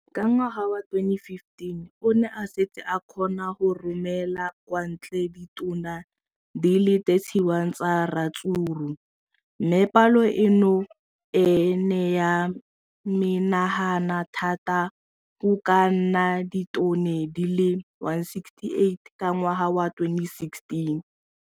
Ka ngwaga wa 2015, o ne a setse a kgona go romela kwa ntle ditone di le 31 tsa ratsuru mme palo eno e ne ya menagana thata go ka nna ditone di le 168 ka ngwaga wa 2016.